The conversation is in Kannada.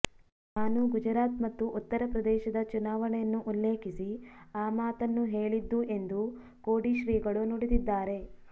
ನಾನು ಗುಜರಾತ್ ಮತ್ತು ಉತ್ತರಪ್ರದೇಶದ ಚುನಾವಣೆಯನ್ನು ಉಲ್ಲೇಖಿಸಿ ಆ ಮಾತನ್ನು ಹೇಳಿದ್ದು ಎಂದು ಕೋಡಿಶ್ರೀಗಳು ನುಡಿದಿದ್ದಾರೆ